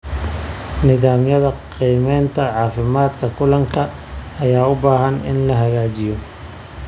Nidaamyada qiimeynta caafimaadka kalluunka ayaa u baahan in la hagaajiyo.